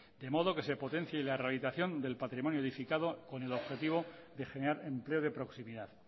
de modo que se potencie la rehabilitación del patrimonio edificado con el objetivo de generar empleo de proximidad